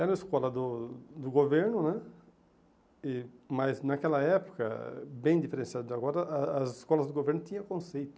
Era a escola do do governo né, mas naquela época, bem diferenciada de agora, as escolas do governo tinham conceito.